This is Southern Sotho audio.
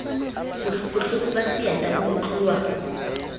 bohloko ba seeta bo utluwa